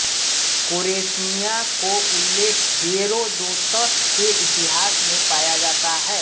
Chorasmia का उल्लेख Herodotus के इतिहास में पाया जाता है